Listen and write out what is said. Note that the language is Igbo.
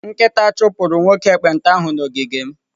Nkịta chụpụrụ nwoke ekpenta ahụ n'ogige m.